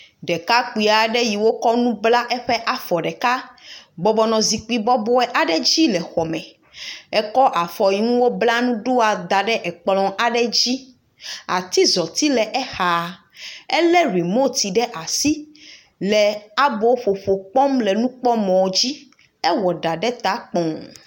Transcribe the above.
Ɖekakpui aɖe yi wokɔ nu bla eƒe afɔ ɖeka, bɔbɔ nɔ zikpui bɔbɔe aɖe dzi le xɔ me. Ekɔ afɔ yi ŋu wobla nu ɖoa da ɖe ekplɔ aɖe dzi, atizɔti le exa, elé rimot ɖe asi, le aboƒoƒo kpɔm le nukpɔmɔ dzi, ewɔ ɖa ɖe ta kpɔɔ,